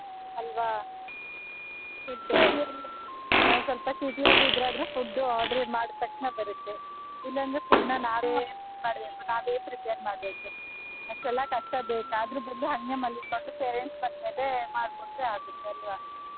ಅಲ್ವಾ ನಾವ್ ಸ್ವಲ್ಪ city ಅಲ್ಲಿ food order ಮಾಡಿದ್ ತಕ್ಷಣ ಬರುತ್ತೆ ಇಲ್ಲಾಂದ್ರೆ food ನಾ ನಾವೇ ನಾವೇ prepare ಮಾಡ್ಬೇಕು ಅಷ್ಟೆಲ್ಲಾ ಕಷ್ಟ ಬೇಕಾ ಅದ್ರು ಬದ್ಲು ಹಂಗೆ ಮಲ್ಕೊಂಡು parents ಬರ್ತಾರೆ ಮಾಡ್ಕೊಟ್ರೆ ಆಗುತ್ತಲ್ವ.